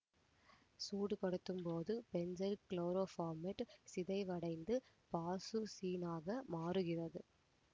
சூடுபடுத்தும்போது benzyl chloroformate சிதைவடைந்து பாசுசீனாக மாறுகிறது